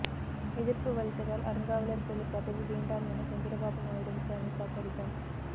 எதிர்ப்பு வலுத்ததால் அறங்காவலர் குழு பதவி வேண்டாம் என சந்திரபாபு நாயுடுவுக்கு அனிதா கடிதம்